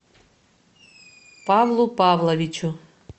павлу павловичу